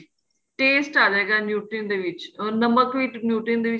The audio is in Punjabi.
taste ਆਂ ਜਏਗਾ nutrition ਦੇ ਵਿਚ ਔਰ ਨਮਕ ਵੀ nutrition ਦੇ ਵਿੱਚ